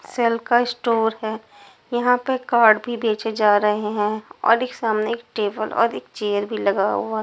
Cell का store है यहां पे कार्ड भी बेचे जा रहे हैं और एक सामने एक टेबल और एक चेयर भी लगा हुआ है।